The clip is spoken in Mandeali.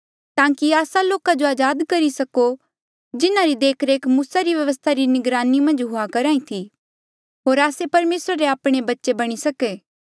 ताकि आस्सा लोका जो अजाद करी सको जिन्हारी देखरेख मूसा री व्यवस्था री निगरानी मन्झ हुई करही थी होर आस्से परमेसरा री आपणे बच्चे बणी सको